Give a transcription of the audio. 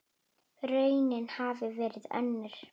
Raunin hafi verið önnur.